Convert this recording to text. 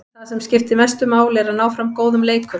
En það sem mestu máli skiptir er að ná fram góðum leikum.